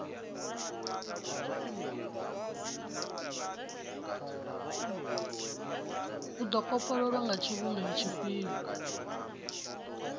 do kopololwa nga tshivhumbeo tshifhio